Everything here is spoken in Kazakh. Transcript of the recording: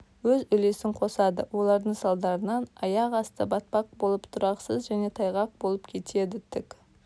өз үлесін қосады олардың салдарынан аяқ асты батпақ болып тұрақсыз және тайғақ болып кетеді тік